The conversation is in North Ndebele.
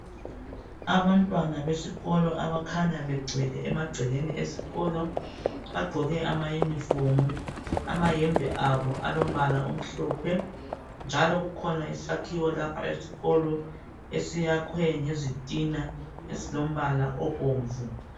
Abantwana besikolo abakhanya begcwele emagcekeni esikolo . Bagqoke ma uniform amayembe abo alombala omhlophe njalo kukhona isakhiwo lapha esikolo esiyakhwe ngezitina ezilombala obomvu.